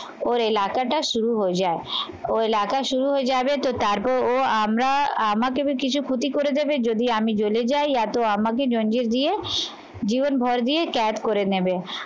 ওর এলাকাটা শুরু হয়ে যায়। ওর এলাকা শুরু হয়ে যাবে তো তারপর ও আমরা আমাকে কিছু ক্ষতি করে দেবে যদি আমি জেলে যাই এতো আমাকে লঞ্চে দিয়ে জীবনভর দিয়ে করে নেবে